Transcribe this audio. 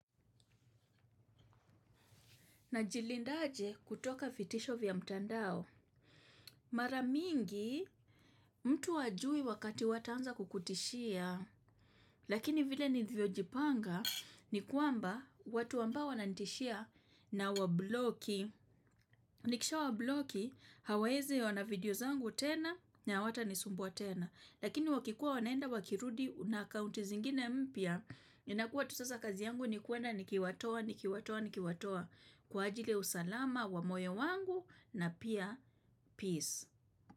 Najilindaje kutoka vitisho vya mtandao. Mara mingi mtu hajui wakati wataanza kukutishia. Lakini vile nivyojipanga ni kuamba watuambao wanantishia na wabloki. Nikisha wabloki hawaezi ona video zangu tena ni hawatanisumbua tena. Lakini wakikuwa wanaenda wakirudi na akounti zingine mpia. Inakua tu sasa kazi yangu ni kuenda nikiwatoa, nikiwatoa, nikiwatoa. Kwa ajili ya usalama wa moyo wangu na pia peace.